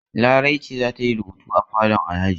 Larai ce za ta yi rubutu a falon Alhaji?